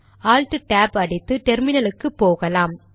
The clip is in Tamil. ஆல்ட் டேப் tab அடித்து டெர்மினலுக்கு போகலாம்